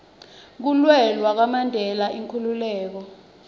kulwela kwamandela inkhululeko